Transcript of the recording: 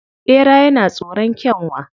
Ɓera yana tsoron Kyanwa